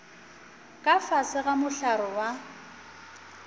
ka fase ga mohlare wa